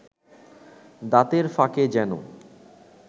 দাঁতের ফাঁকে যেন